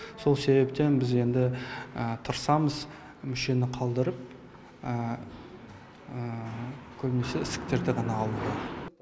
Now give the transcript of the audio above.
сол себептен біз енді тырысамыз мүшені қалдырып көбінесе ісіктерді ғана алуға